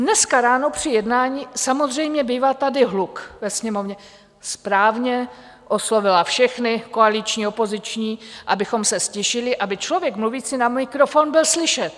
Dneska ráno při jednání - samozřejmě bývá tady hluk ve Sněmovně - správně oslovila všechny koaliční, opoziční, abychom se ztišili, aby člověk mluvící na mikrofon byl slyšet.